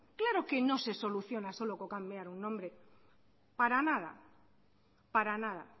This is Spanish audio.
claro que no se soluciona solo con cambiar un nombre para nada para nada